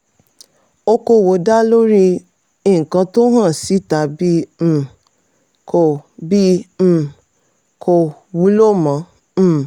okoòwò dá lórí nǹkan tó hàn síta bí um kò bí um kò wúlò mọ́. um